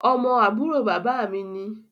Ọmọ àbúrò bàbá mi ni